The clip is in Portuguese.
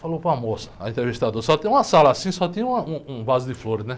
Falou para a moça, a entrevistadora, só tem uma sala assim, só tinha um, um vaso de flores, né?